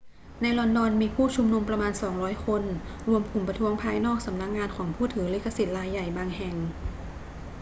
ในลอนดอน มีผู้ชุมนุมประมาณ 200 คนรวมกลุ่มประท้วงภายนอกสำนักงานของผู้ถือลิขสิทธิ์รายใหญ่บางแห่ง